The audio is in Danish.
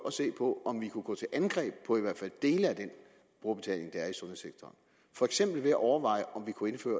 at se på om vi kunne gå til angreb på i hvert fald dele af den brugerbetaling der er i sundhedssektoren for eksempel ved at overveje om vi kunne indføre